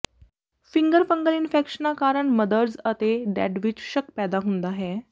finger fungal ਇਨਫੈਕਸ਼ਨਾਂ ਕਾਰਨ mothers ਅਤੇ ਡੈੱਡ ਵਿੱਚ ਸ਼ੱਕ ਪੈਦਾ ਹੁੰਦਾ ਹੈ